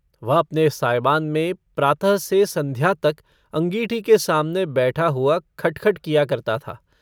वह अपने सायबान में प्रातः से सन्ध्या तक अँगीठी के सामने बैठा हुआ खट खट किया करता था।